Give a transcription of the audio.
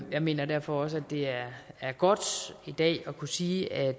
jeg mener derfor også at det er godt i dag at kunne sige at